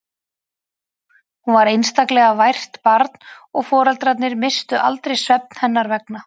Hún var einstaklega vært barn og foreldrarnir misstu aldrei svefn hennar vegna.